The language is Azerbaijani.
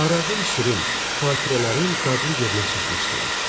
Arağın şirin, xatirələrin dadlı yerinə çatmışdılar.